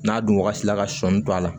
N'a dun wagati la ka sɔnni to a la